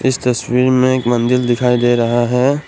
इस तस्वीर में एक मंदिर दिखाई दे रहा है ।